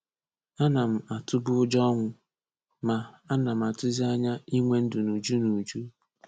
Ana m atụbu ụjọ ọnwụ — Ma, ana m atụzi anya ‘Inwe Ndụ n’Uju’ n’Uju’